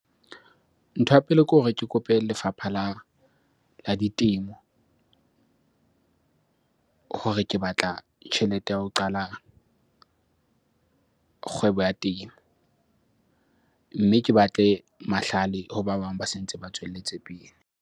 Ntho ya pele ke hore ke kope lefapha la ditemo hore ke batla tjhelete ya ho qala kgwebo ya temo. Mme ke batle mahlale ho ba bang ba se ntse ba tswelletse pele.